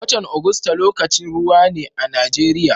Watan Agusta lokacin ruwa ne a Najeriya.